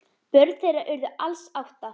Börn þeirra urðu alls átta.